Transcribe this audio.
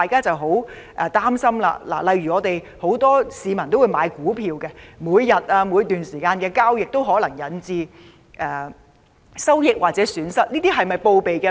我們擔心，很多市民有買賣股票，而每天或在某段時間內進行交易時可能引致的收益或損失，是否需要備案呢？